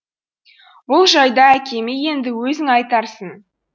бұл жайды әкеме енді өзің айтарсың